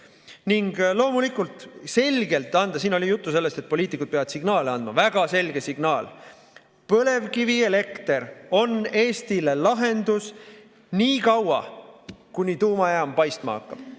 Ning loomulikult tuleb anda – siin oli juttu sellest, et poliitikud peavad signaale andma – väga selge signaal: põlevkivielekter on Eestile lahendus niikaua, kuni tuumajaam paistma hakkab.